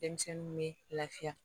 Denmisɛnninw bɛ lafiya